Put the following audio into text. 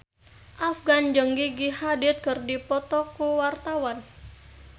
Afgan jeung Gigi Hadid keur dipoto ku wartawan